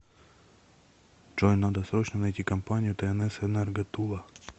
джой надо срочно найти компанию тнс энерго тула